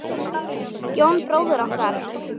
Jón bróðir okkar.